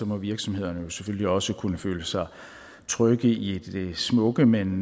må virksomhederne selvfølgelig også kunne føle sig trygge i det smukke men